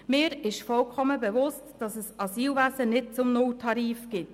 Mir ist vollkommen bewusst, dass es das Asylwesen nicht zum Nulltarif gibt.